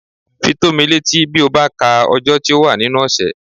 Fi tó mí létí bí ó bá ka ọjọ́ tí ó wà nínú ọ̀sẹ̀